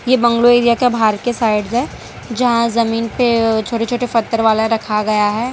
ये bungalow area का बाहर के साइड है जहां जमीन पे अ छोटे छोटे पत्थर वाला रखा गया है।